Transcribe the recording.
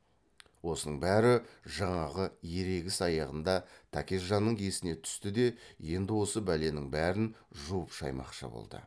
осының бәрі жаңағы ерегіс аяғында тәкежанның есіне түсті де енді осы бәленің бәрін жуып шаймақшы болды